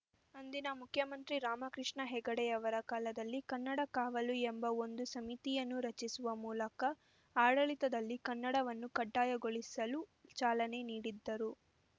ಅಂದಿನ ಮುಖ್ಯಮಂತ್ರಿ ರಾಮಕೃಷ್ಣ ಹೆಗಡೆಯವರ ಕಾಲದಲ್ಲಿ ಕನ್ನಡ ಕಾವಲು ಎಂಬ ಒಂದು ಸಮಿತಿನ್ನು ರಚಿಸುವ ಮೂಲಕ ಆಡಳಿತದಲ್ಲಿ ಕನ್ನಡವನ್ನು ಕಡ್ಡಾಯಗೋಳಿಸಲು ಚಾಲನೆ ನೀಡಿದ್ದರು